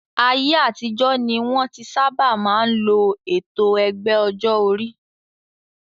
Ayé àtijọ́ ni wọ́n tí sábà máa ń lo ètò ẹgbẹ́ ọjọ́ orí